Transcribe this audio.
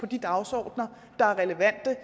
de dagsordener der er relevante